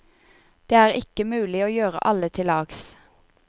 Det er ikke mulig å gjøre alle til lags.